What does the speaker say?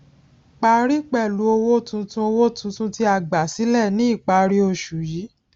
parí pẹlú owó tuntun owó tuntun tí a gbà sílẹ ní ìparí oṣù yìí